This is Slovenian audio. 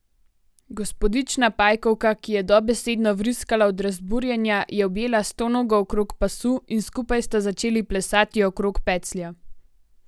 Gospodična Pajkovka, ki je dobesedno vriskala od razburjenja, je objela Stonogo okrog pasu in skupaj sta začeli plesati okrog peclja.